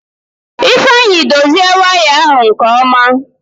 Ifeanyị dozie waya ahụ nke ọma.